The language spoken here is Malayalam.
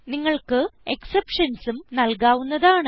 നിങ്ങൾക്ക് exceptionsഉം നൽകാവുന്നതാണ്